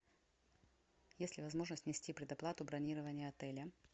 есть ли возможность внести предоплату бронирования отеля